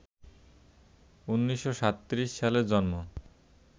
১৯৩৭ সালে জন্ম